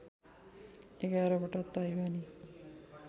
एघार वटा ताईवानी